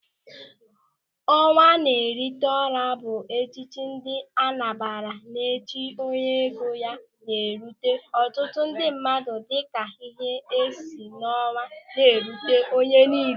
Ọnwa Na-Etiri Ọra bụ echichi ndị Anambra na-echi onye ego ya na-erute ọtụtụ ndị mmadụ dịka ihe si n'ọnwa ná-erute onye niile.